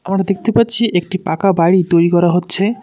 আমারা দেখতে পাচ্ছি একটি পাকা বাড়ি তৈরি করা হচ্ছে।